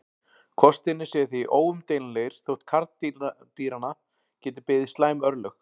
Kostirnir séu því óumdeilanlegir þótt karldýranna geti beði slæm örlög.